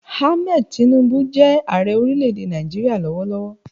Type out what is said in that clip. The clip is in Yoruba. Ahmed Tinubu jẹ́ Ààrẹ orílẹ̀ èdè Nàìjíríà lọ́wọ́lọ́wọ́